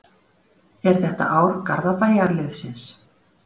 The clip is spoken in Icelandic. Er þetta ár Garðabæjarliðsins?